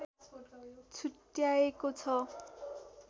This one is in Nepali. छुट्याएको छ